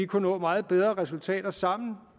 kunne nå meget bedre resultater sammen